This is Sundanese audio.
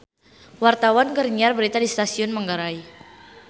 Wartawan keur nyiar berita di Stasiun Manggarai